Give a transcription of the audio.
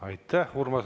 Aitäh!